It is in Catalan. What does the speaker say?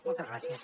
moltes gràcies